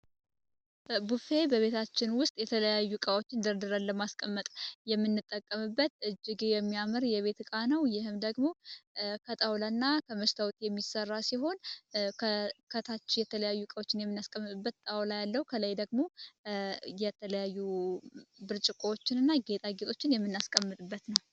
ቡፌ በቤታችን ውስጥ የተለያዩ እቃዎችን እድርድረ ለማስቀመጥ የሚንጠቀምበት እጅግ የሚያምር የቤት እቃ ነው። ይህም ደግሞ ከጣውላ እና ከመሽታውት የሚሠራ ሲሆን ከታች የተለያዩቃዎችን የሚናስቀምጥበት ጣውላ ያለው ከላይ ደግሞ የተለያዩ ብርጭቋዎችን እና ጌጣጌጦችን የሚናስቀምጥበት ነው።